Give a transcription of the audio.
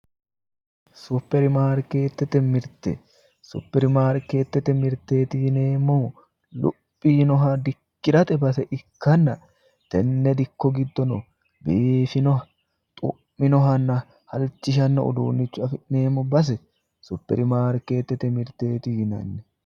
Supirimaarketete mirte ,supirimaarketete mirteti yinneemmohu luphi yiinoha dikkirate base ikkanna tene dikko giddono biifinoha xu'minohanna halchishano uduunicho afi'neemmo base supirimaarketete mirteti yinnanni